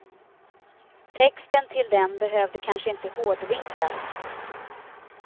Texten till den behövde kanske inte hårdvinklas.